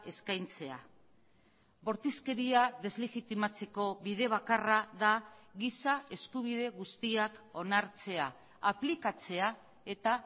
eskaintzea bortizkeria deslegitimatzeko bide bakarra da giza eskubide guztiak onartzea aplikatzea eta